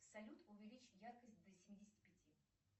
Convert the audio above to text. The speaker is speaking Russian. салют увеличь яркость до семидесяти пяти